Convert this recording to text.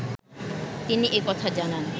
তিনি এ কথা জানান